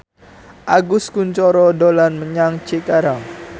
Agus Kuncoro dolan menyang Cikarang